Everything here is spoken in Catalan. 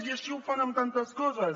i així ho fan amb tantes coses